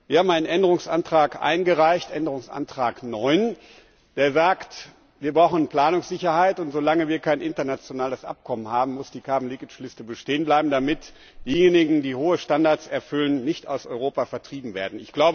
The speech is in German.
Wir haben einen Änderungsantrag eingereicht, Änderungsantrag 9, der besagt, wir brauchen Planungssicherheit, und solange wir kein internationales Abkommen haben, muss die Carbon leakage Liste bestehen bleiben, damit diejenigen, die hohe Standards erfüllen, nicht aus Europa vertrieben werden.